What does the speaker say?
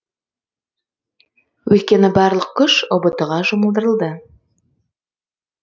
өйткені барлық күш ұбт ға жұмылдырылды